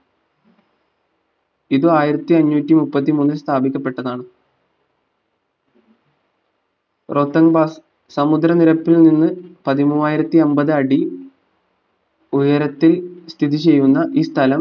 ഇതും ആയിരത്തി അഞ്ഞൂറ്റി മുപ്പത്തിമൂന്നിൽ സ്ഥാപിക്കപെട്ടതാണ് സമുദ്രനിരപ്പിൽ നിന്ന് പതിമൂന്നായിരത്തി അമ്പത് അടി ഉയരത്തിൽ സ്ഥിതി ചെയ്യുന്ന ഈ സ്ഥലം